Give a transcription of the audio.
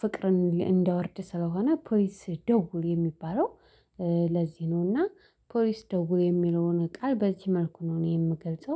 ፍቅርን እንዲያወርድ ስለሆነ ፖሊስ ደውል የሚባለው ለዚህ ነው። እና ፖሊስ ደውል የሚለውን ቃል በዚህ መልኩ ነው እኔ የምገልጸው